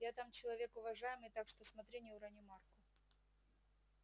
я там человек уважаемый так что смотри не урони марку